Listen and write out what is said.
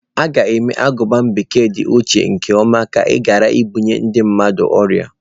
A ga mee ka aguba bekee di ocha nke ọma ka ghara ibunye ndi mmadụ ọrịa.